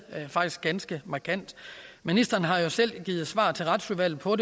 ganske markant ministeren har jo selv givet et svar til retsudvalget hvor